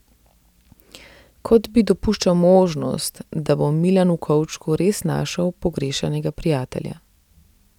Kot bi dopuščal možnost, da bo Milan v kovčku res našel pogrešanega prijatelja.